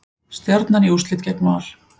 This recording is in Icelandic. Stjarnan í úrslitin gegn Val